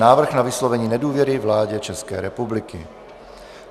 Návrh na vyslovení nedůvěry vládě České republiky